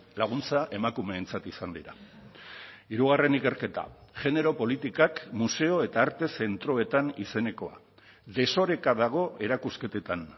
laguntza emakumeentzat izan dira hirugarren ikerketa genero politikak museo eta arte zentroetan izenekoa desoreka dago erakusketetan